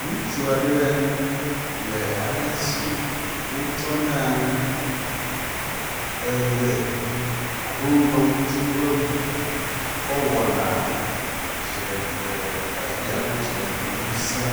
Ŋutsua ɖe le ale si wotsɔnaa eʋe alo ŋdɔkutsu ƒe ŋuŋu kɔ wɔna dziɖegbekaɖi alo dziɖegbeŋusẽ